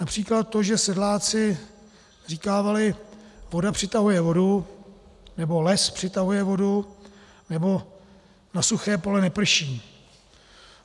Například to, že sedláci říkávali: voda přitahuje vodu, nebo les přitahuje vodu, nebo na suché pole neprší.